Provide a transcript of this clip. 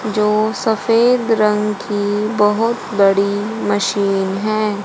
जो सफेद रंग की बोहोत बड़ी मशीन हैं।